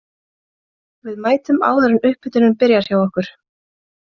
Við mætum áður en upphitunin byrjar hjá okkur.